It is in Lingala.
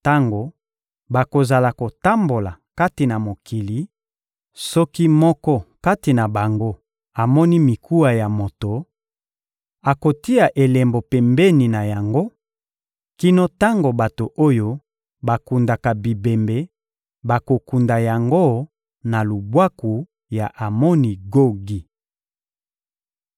Tango bakozala kotambola kati na mokili, soki moko kati na bango amoni mikuwa ya moto, akotia elembo pembeni na yango, kino tango bato oyo bakundaka bibembe bakokunda yango na lubwaku ya Amoni Gogi.